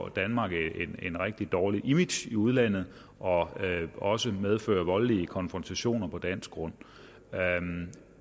danmark et rigtig dårligt image i udlandet og at det også medføre voldelige konfrontationer på dansk grund